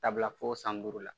Taabila fo san duuru la